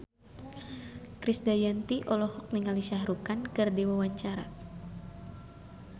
Krisdayanti olohok ningali Shah Rukh Khan keur diwawancara